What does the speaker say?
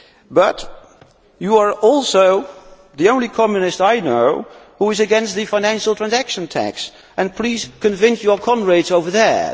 But you are also the only Communist I know who is against the financial transaction tax, so please convince your comrades over there.